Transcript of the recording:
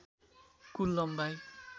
कुल लम्बाइ